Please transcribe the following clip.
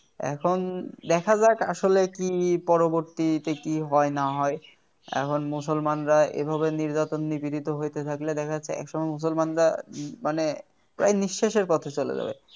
এখন দেখা যাক আসলে কি পরবর্তীতে কি হয় না হয় এখন মুসলমানরা এভাবে নির্যাতন নিপীড়িত হইতে থাকলে দেখা যাবে একসময় মুসলমানরা মানে প্রায় নিঃশেষের পথে চলে যাবে